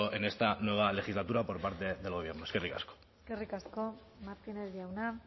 en esta nueva legislatura por parte del gobierno eskerrik asko eskerrik asko martínez jauna